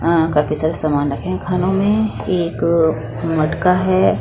आं काफी सारे सामान रखे हैं खानों में एक मटका है।